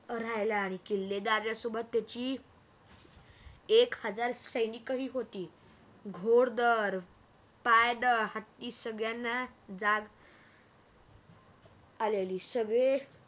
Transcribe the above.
राहायला आले किल्लेदारसोबत त्याची एक हजार सैनिकही होती घोळदळ पायदळ हत्ती सगळ्यांना जाग आलेली सगळे